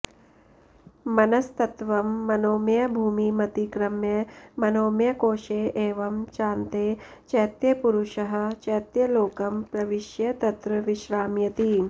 मनस्तत्त्वं मनोमयभूमिमतिक्रम्य मनोमयकोषे एवं चान्ते चैत्यपुरुषः चैत्यलोकं प्रविश्य तत्र विश्राम्यति